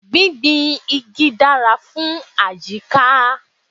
Gbígbin igi dára fún àyíká.